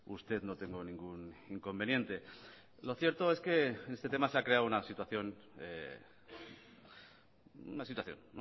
usted no tengo ningún inconveniente lo cierto es que en este tema se ha creado una situación una situación